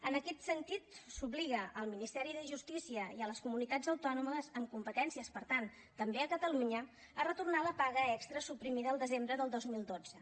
en aquest sentit s’obliga el ministeri de justícia i les comunitats autònomes amb competències per tant també catalunya a retornar la paga extra suprimida el desembre del dos mil dotze